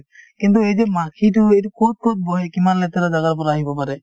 কিন্তু এই যে মাখিতো এইটো কত কত বহে কিমান লেতেৰা জাগাৰ পৰা আহিব পাৰে